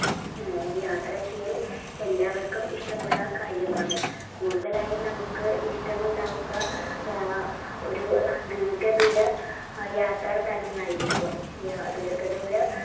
ഈ യാത്ര ചെയ്യൽ എല്ലാവർക്കും ഇഷ്ടമുള്ള കാര്യമാണ് കൂടുതാലായി നമ്മുക്ക് ഇഷ്ടമുണ്ടാകുക ഏർ ഒരു ദീർഘ ദൂര യാത്ര തന്നെയായിരിക്കും ദീർഘ ദൂര